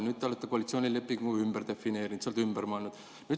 Nüüd te olete koalitsioonilepingu ümber defineerinud ja sina oled ümber mõelnud.